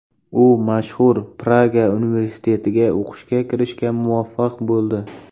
U mashhur Praga universitetiga o‘qishga kirishga muvaffaq bo‘ldi.